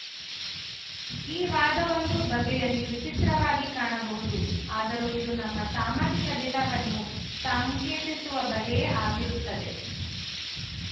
ಈ ವಾದ ಒಂದು ಬಗೆಯಲ್ಲಿ ವಿಚಿತ್ರವಾಗಿ ಕಾಣಬಹುದು ಆದರೂ ಇದು ನಮ್ಮ ಸಾಮಾಜಿಕ ದಿಟವನ್ನು ಸಾಂಕೇತಿಸುವ ಬಗೆಯೇ ಆಗಿರುತ್ತದೆ